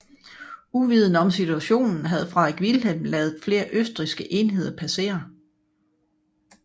Uvidende om situationen havde Frederik Vilhelm ladet flere østrigske enheder passere